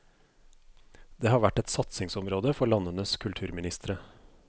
Det har vært et satsingsområde for landenes kulturministre.